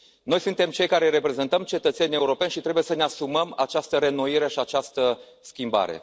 Noi suntem cei care reprezentăm cetățenii europeni și trebuie să ne asumăm această reînnoire și această schimbare.